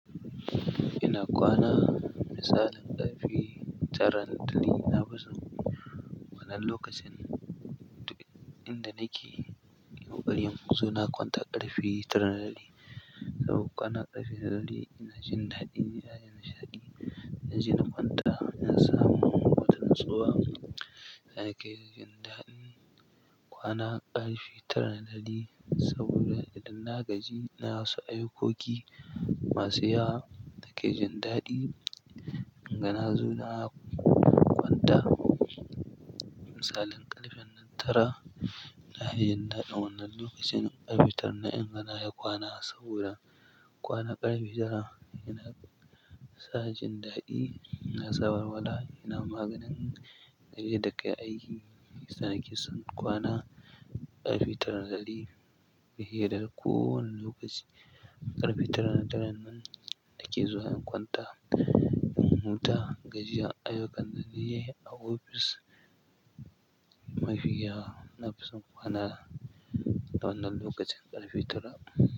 Ina kwana misalin ƙarfe tara na dare, na fi so wannan lokacin. Inda nake in ƙoƙari, inzo na kwanta ƙarfe tara na dare. Sabo kwana ƙarfe tara ina jin daɗi, ina yin nishaɗi, ina je in kwanta ina samun hutun tsoho. Ina kai ga jin daɗi kwana ƙarfe tara na doli saboda idan na gaji ina wasu ayukoki masu yawa nake jin daɗi in ganin suna kwanta. Misalin ƙarfen. Nan tara na iya yin daɗi wannan lokacin ƙarfe tara na inga na iya kwana saboda kwana ƙarfe tara yana sa jin daɗi, yana samarwa la'i, yana maganin gari da kai aiki. Shi yasa nake son kwana ƙarfe tara na dare fiye da kowane lokaci. Ƙarfe tara na daren nan nake zuwa in kwanta in huta, gajiya, ayuka na dare a ofis mafi gyara. Na fi son kwana wannan lokacin ƙarfe tara.